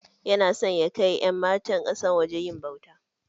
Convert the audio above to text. Yana san ya kai ƴan matan kasan waje yin ɓauta.